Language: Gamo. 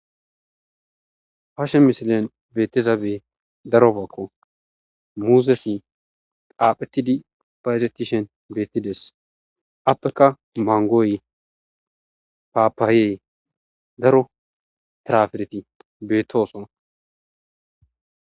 harshe misilen beetezabe darofakko muuzefi qaaphetidi phayzetishen beettides appeka mangooy paapaayee daro trafereti beettoosona